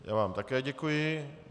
Já vám také děkuji.